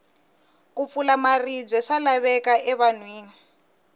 ku pfula maribye swa laveka e vanhwini